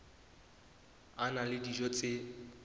a na le dijo tse